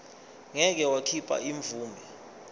ngeke wakhipha imvume